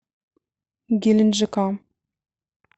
геленджика